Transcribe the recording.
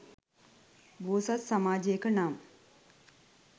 බෝසත් සමාජයක නම්